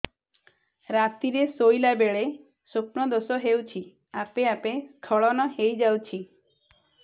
ରାତିରେ ଶୋଇଲା ବେଳେ ସ୍ବପ୍ନ ଦୋଷ ହେଉଛି ଆପେ ଆପେ ସ୍ଖଳନ ହେଇଯାଉଛି